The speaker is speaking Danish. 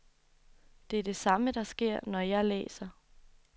Det er det samme, der sker, når jeg læser.